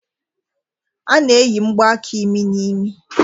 A na-eyi mgbaaka imi n'imi.